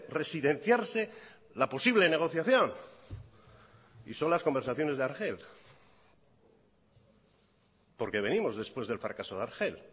residenciarse la posible negociación y son las conversaciones de argel porque venimos después del fracaso de argel